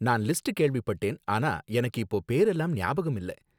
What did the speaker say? நான் லிஸ்ட் கேள்விப்பட்டேன், ஆனா எனக்கு இப்ப பேரெல்லாம் ஞாபகம் இல்ல